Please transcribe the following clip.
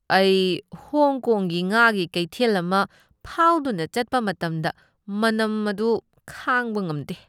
ꯑꯩ ꯍꯣꯡ ꯀꯣꯡꯒꯤ ꯉꯥꯒꯤ ꯀꯩꯊꯦꯜ ꯑꯃ ꯐꯥꯎꯗꯨꯅ ꯆꯠꯄ ꯃꯇꯝꯗ ꯃꯅꯝ ꯑꯗꯨ ꯈꯥꯡꯕ ꯉꯝꯗꯦ꯫